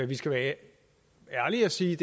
vi skal være ærlige og sige